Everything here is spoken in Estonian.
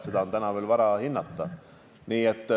Seda on täna veel vara hinnata.